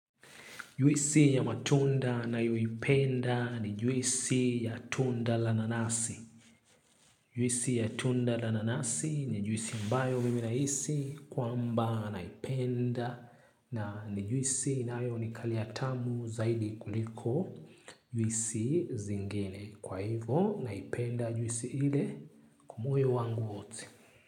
Juisi ya matunda nayoipenda ni juisi ya tunda la nanasi. Juisi ya tunda la nanasi ni juisi mbayo mimi hisi kwa mba naipenda na juisi inaayo ni kaliatamu zaidi kuliko juisi zingine. Kwa hivo naipenda juisi ile kwa moyo wangu wote.